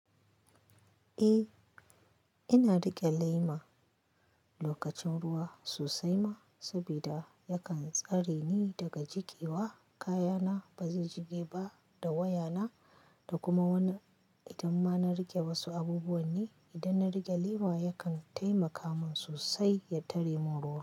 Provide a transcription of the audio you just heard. Eh, ina riƙe lema lokacin ruwa sosai ma, saboda yakan tsare ni daga jigewa, kayana ba su jige ba da wayana. Da kuma wani, idan ma na riƙe wasu abubuwa ne, idan na riƙe lema yakan taimaka min sosai ya tare mun ruwa.